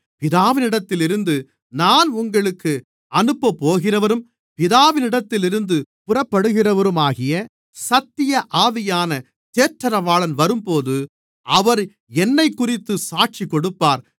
பிதாவினிடத்திலிருந்து நான் உங்களுக்கு அனுப்பப்போகிறவரும் பிதாவினிடத்திலிருந்து புறப்படுகிறவருமாகிய சத்திய ஆவியான தேற்றரவாளன் வரும்போது அவர் என்னைக்குறித்துச் சாட்சி கொடுப்பார்